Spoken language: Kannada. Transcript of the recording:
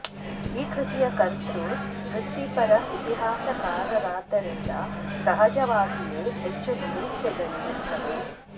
ಈ ಕೃತಿಯ ಕರ್ತೃ ವೃತ್ತಿಪರ ಇತಿಹಾಸಕಾರರಾದ್ದರಿಂದ ಸಹಜವಾಗಿಯೇ ಹೆಚ್ಚು ನಿರೀಕ್ಷೆಗಳಿರುತ್ತವೆ